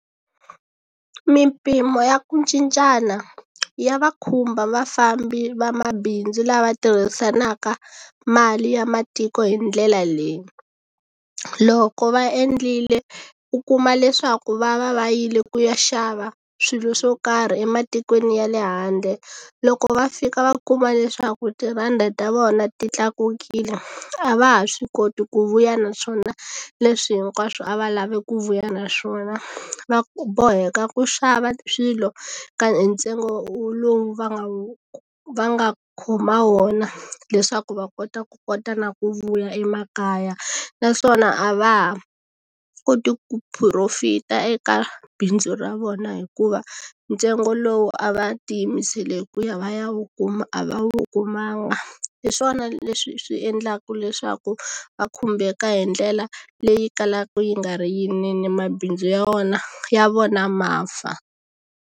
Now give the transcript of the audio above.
Mimpimo ya ku cincana ya va khumba vafambi vamabindzu lava tirhisanaka mali ya matiko hi ndlela leyi loko va endlile u kuma leswaku va va va yile ku ya xava swilo swo karhi ematikweni ya le handle loko va fika va kuma leswaku tirhandi ta vona ti tlakukile a va ha swi koti ku vuya naswona leswi hinkwaswo a va lave ku vuya naswona va boheka ku xava swilo ka hi ntsengo lowu va nga wu va nga khoma wona leswaku va kota ku kota na ku vuya emakaya naswona a va ha koti ku profit-a eka bindzu ra vona hikuva ntsengo lowu a va tiyimisele ku ya va ya wu kuma a va wu kumanga hi swona leswi swi endlaka leswaku va khumbeka hi ndlela leyi kalaka yi nga ri yinene mabindzu ya wona ya vona ma fa.